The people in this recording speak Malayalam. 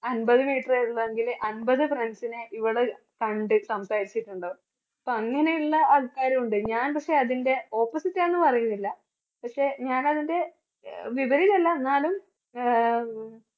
അൻപത് വീട്ടില് വരുന്നുവെങ്കില് അൻപത് friends നെ ഇവള് കണ്ട് സംസാരിച്ചിട്ടുണ്ടാവും അപ്പോ അങ്ങനെയുള്ള ആൾക്കാരുണ്ട്. ഞാൻ പക്ഷേ അതിൻറെ opposite ആണെന്ന് പറയുന്നില്ല പക്ഷേ ഞാൻ അതിൻറെ എന്നാലും